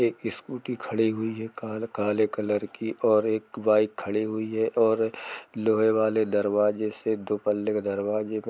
एक स्कूटी खड़ी हुई है कार काले कलर और एक बाइक खड़ी हुई है और लोहे वाले दरवाजे से दो पल्ले का दरवाजे --